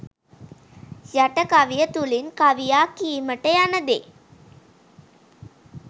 යට කවිය තුළින් කවියා කීමට යන දේ